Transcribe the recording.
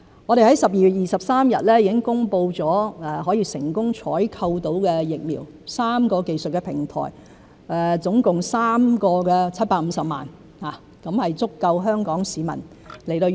我們在去年12月23日已經公布了成功採購的疫苗 ——3 個技術平台，總共3款，各750萬劑，足夠香港市民使用。